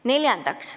Neljandaks.